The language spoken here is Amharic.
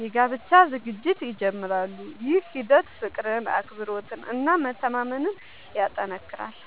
የጋብቻ ዝግጅት ይጀምራሉ። ይህ ሂደት ፍቅርን፣ አክብሮትን እና መተማመንን ያጠናክራል።